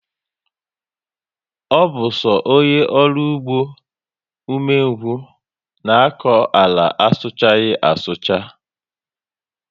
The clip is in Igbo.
Ọ bu so ónyé ọrụ ụgbọ ume ngwu na akọ àlà ana suchaghi asucha